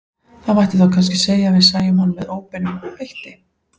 Það mætti þá kannski segja að við sæjum hann með óbeinum hætti.